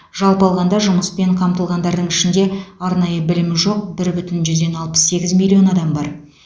жалпы алғанда жұмыспен қамтылғандардың ішінде арнайы білімі жоқ бір бүтін жүзден алпыс сегіз миллион адам бар